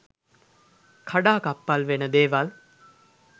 කඩාකප්පල් වෙන දේවල්